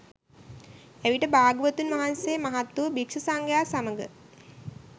එවිට භාග්‍යවතුන් වහන්සේ මහත් වූ භික්ෂු සංඝයා සමඟ